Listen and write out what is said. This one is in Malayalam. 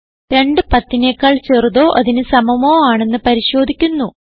210നെക്കാൾ ചെറുതോ അതിന് സമമോ ആണെന്ന് പരിശോധിക്കുന്നു